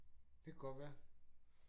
Det kan godt være